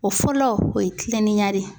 O fɔlɔ o ye kiliniyan de ye.